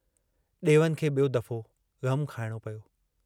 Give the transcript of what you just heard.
डेवन खे बियों दफ़ो ग़मु खाइणो पियो।